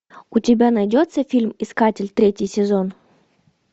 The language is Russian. у тебя найдется фильм искатель третий сезон